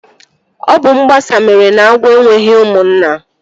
Ọ bụ mgbasa mere na agwọ enweghị ụmụnna